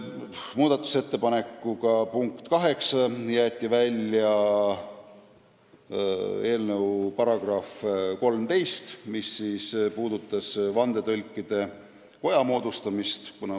Muudatusettepanek nr 8 on jätta välja eelnõu algteksti § 13, mis käsitles Vandetõlkide Koja moodustamist.